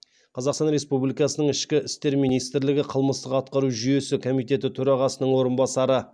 қазақстан республикасының ішкі істер министрлігі қылмыстық атқару жүйесі комитеті төрағасының орынбасары